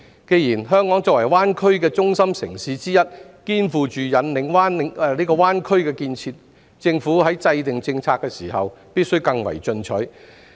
既然香港作為灣區的中心城市之一，肩負引領灣區建設的重任，政府在制訂政策時，必須更為進取。